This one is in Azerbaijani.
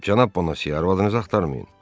Cənab Bonasi, arvadınızı axtarmayın.